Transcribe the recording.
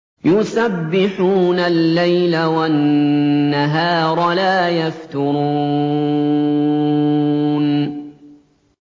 يُسَبِّحُونَ اللَّيْلَ وَالنَّهَارَ لَا يَفْتُرُونَ